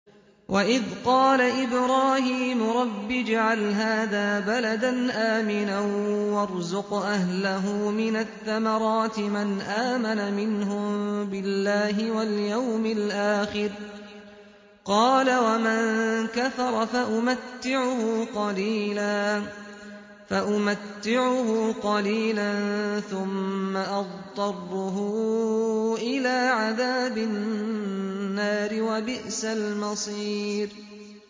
وَإِذْ قَالَ إِبْرَاهِيمُ رَبِّ اجْعَلْ هَٰذَا بَلَدًا آمِنًا وَارْزُقْ أَهْلَهُ مِنَ الثَّمَرَاتِ مَنْ آمَنَ مِنْهُم بِاللَّهِ وَالْيَوْمِ الْآخِرِ ۖ قَالَ وَمَن كَفَرَ فَأُمَتِّعُهُ قَلِيلًا ثُمَّ أَضْطَرُّهُ إِلَىٰ عَذَابِ النَّارِ ۖ وَبِئْسَ الْمَصِيرُ